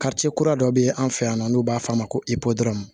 kura dɔ be yen an fɛ yan nɔ n'u b'a f'a ma ko